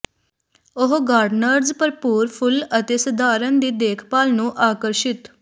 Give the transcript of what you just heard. ਉਹ ਗਾਰਡਨਰਜ਼ ਭਰਪੂਰ ਫੁੱਲ ਅਤੇ ਸਧਾਰਨ ਦੀ ਦੇਖਭਾਲ ਨੂੰ ਆਕਰਸ਼ਿਤ